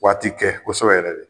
Waati kɛ kɔsɛbɛ yɛrɛ dɛ